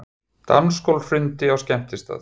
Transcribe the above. Dansgólf hrundi á skemmtistað